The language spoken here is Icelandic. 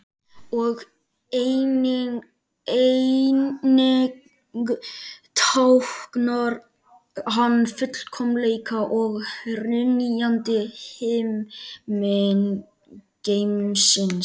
Og einnig táknar hann fullkomleika og hrynjandi himingeimsins.